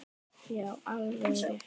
Já, alveg rétt.